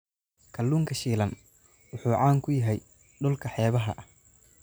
Kalluunka shiilan wuxuu caan ku yahay dhulka xeebaha ah.